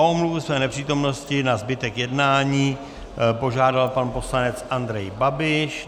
O omluvu své nepřítomnosti na zbytek jednání požádal pan poslanec Andrej Babiš.